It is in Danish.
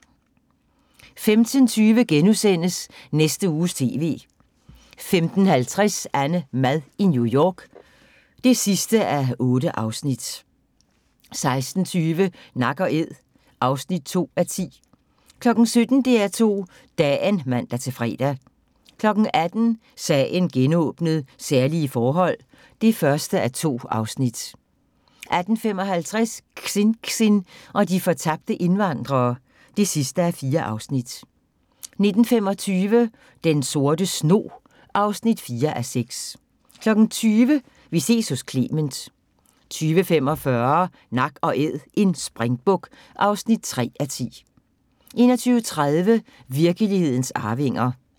15:20: Næste Uges TV * 15:50: AnneMad i New York (8:8) 16:20: Nak & æd (2:10) 17:00: DR2 Dagen (man-fre) 18:00: Sagen genåbnet: Særlige forhold (1:2) 18:55: Xinxin og de fortabte indvandrere (4:4) 19:25: Den Sorte Snog (4:6) 20:00: Vi ses hos Clement 20:45: Nak & Æd – en springbuk (3:10) 21:30: Virkelighedens arvinger